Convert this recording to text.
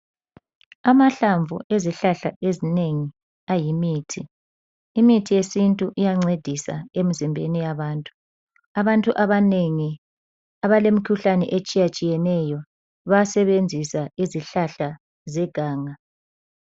Amahlamvu ezihlahla ezinengi ayimithi. Imithi yesintu iyancedisa emzimbeni yabantu. Abantu abanengi abalemkhuhlane etshiyatshiyeneyo bayasebenzisa izihlahla zeganga.